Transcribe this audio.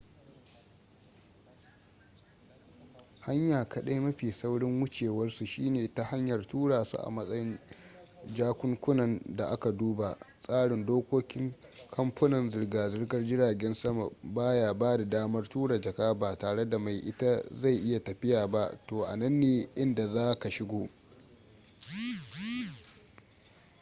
hanya kaɗai mafi saurin wucewarsu shine ta hanyar tura su a matsayin jakunkunan da aka duba tsarin dokokin kamfunan zirga-zirgar jiragen sama ba ya bada damar tura jaka ba tare da mai ita zai yi tafiya ba to anan ne inda za ka shigo